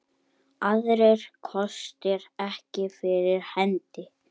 Aðrir kostir ekki fyrir hendi.